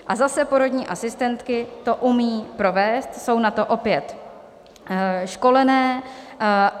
A zase porodní asistentky to umějí provést, jsou na to opět školené.